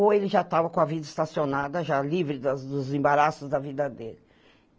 Ou ele já estava com a vida estacionada, já livre da dos embaraços da vida dele.